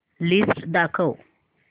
list दाखव